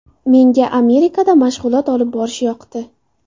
Menga Amerikada mashg‘ulot olib borish yoqdi.